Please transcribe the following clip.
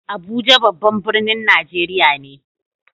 Abuja babban birnin Najeriya ne.